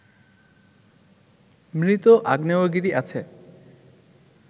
মৃত আগ্নেয়গিরি আছে